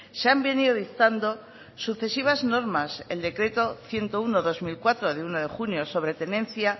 se han venido dictando sucesivas normas el decreto ciento uno barra dos mil cuatro de uno de junio sobre tenencia